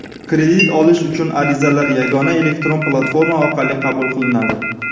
Kredit olish uchun arizalar yagona elektron platforma orqali qabul qilinadi.